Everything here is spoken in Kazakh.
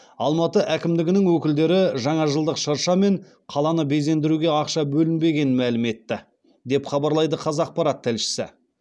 алматы әкімдігінің өкілдері жаңажылдық шырша мен қаланы безендіруге ақша бөлінбегенін мәлім етті деп хабарлайды қазақпарат тілшісі